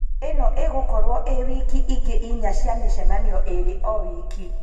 ĩno ĩgũkorwo ĩĩ wiki ingĩ inya cia mĩcemanio ĩĩrĩ o wiki